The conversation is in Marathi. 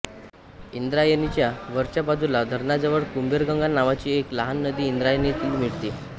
इंद्रायणीच्या वरच्या बाजूला धरणाजवळ कुबेरगंगा नावाची एक लहान नदी इंद्रायणीला मिळते